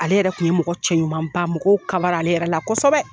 Ale yɛrɛ tun ye mɔgɔ cɛ ɲuman ba mɔgɔw kaba la ale yɛrɛ la kosɛbɛ.